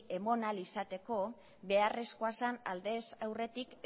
eman ahal izateko beharrezkoa zen aldez aurretik